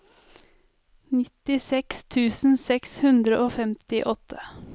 nittiseks tusen seks hundre og femtiåtte